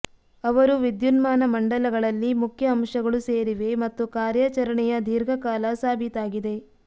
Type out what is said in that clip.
ಅವರು ವಿದ್ಯುನ್ಮಾನ ಮಂಡಲಗಳಲ್ಲಿ ಮುಖ್ಯ ಅಂಶಗಳು ಸೇರಿವೆ ಮತ್ತು ಕಾರ್ಯಾಚರಣೆಯ ದೀರ್ಘ ಕಾಲ ಸಾಬೀತಾಗಿದೆ